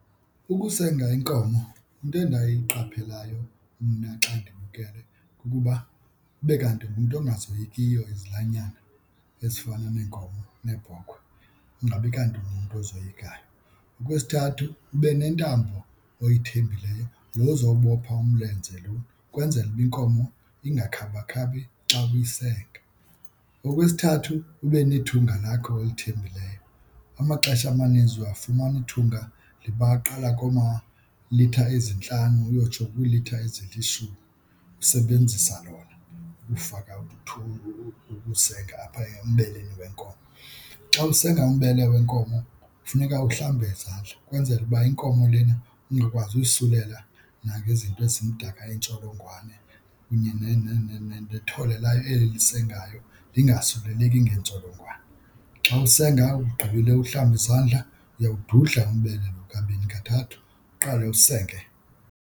Ukusenga iinkomo, into endiyiqapheleyo mna xa ndibukele kukuba kube kanti ngumntu ungazoyekiyo izilwanyana ezifana neenkomo neebhokhwe, ingabi kanti ungumntu ozoyikayo. Okwesithathu ube nentambo oyithembileyo lo uzobopha umlenze lo ukwenzela uba inkomo ingakhabakhabi xa uyisenga. Okwesithathu ube nethunga lakho olithembileyo. Amaxesha amaninzi uyafumana ithunga liba aqala koomalitha ezintlanu uyotsho kwiilitha ezilishumi, usebenzisa lona ukufaka ukusenga apha embeleni wenkomo. Xa usenga umbele wenkomo funeka uhlambe izandla ukwenzela uba inkomo lena ungakwazi uyisukela nangezinto ezimdaka, iintsholongwane kunye nethole layo eli lisengayo lingasuleleki ngeentsholongwane. Xa usenga ugqibile uhlambe izandla uyawududla umbele lo kabini kathathu, uqale usenge.